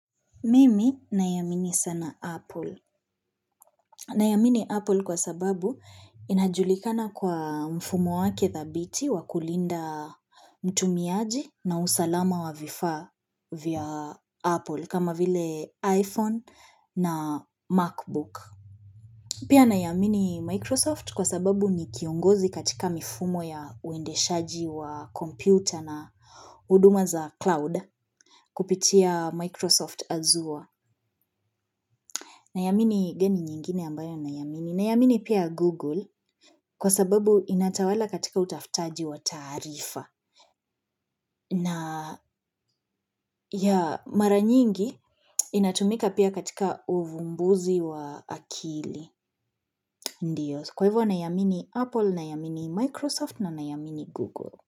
Mimi naiamini sana Apple. Naiamini Apple kwa sababu inajulikana kwa mfumo wake dhabiti wa kulinda mtumiaji na usalama wa vifaa vya Apple kama vile iPhone na Macbook. Pia naiamini Microsoft kwa sababu ni kiongozi katika mifumo ya uendeshaji wa kompyuta na huduma za cloud kupitia Microsoft azure Naiamini gani nyingine ambayo naiamini. Naiamini pia Google kwa sababu inatawala katika utafutaji wa taarifa na ya mara nyingi inatumika pia katika uvumbuzi wa akili. Ndio, kwa hivyo naiamini Apple, naiamini Microsoft na naiamini Google.